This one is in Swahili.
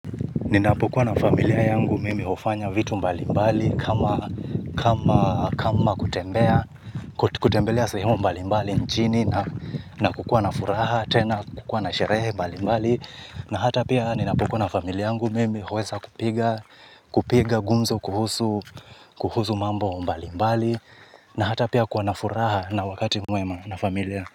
Ninapokuwa na familia yangu mimi hufanya vitu mbalimbali kama kutembelea sehemu mbalimbali nchini na kukuwa na furaha tena kukuwa na sherehe mbalimbali na hata pia ninapokuwa na familia yangu mimi huweza kupiga, kupiga gumzo kuhusu mambo mbalimbali na hata pia kuwa na furaha na wakati mwema na familia.